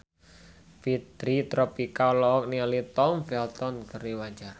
Fitri Tropika olohok ningali Tom Felton keur diwawancara